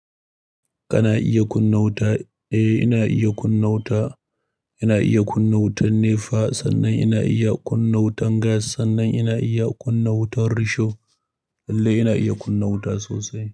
Kana iya kunna wuta? Eh, ina iya kunna wuta. Ina iya kunna wutan nefa sannan ina iya kunna wutan gas sannan ina iya kunna wutar risho. Lalle ina iya kunna wuta sosai.